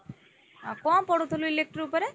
ଆଉ କଣ ପଢୁଥିଲୁ electric ଉପରେ?